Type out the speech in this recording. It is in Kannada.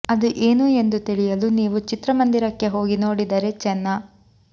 ಅದು ಏನು ಎಂದು ತಿಳಿಯಲು ನೀವು ಚಿತ್ರಮಂದಿರಕ್ಕೆ ಹೋಗಿ ನೋಡಿದರೇ ಚೆನ್ನ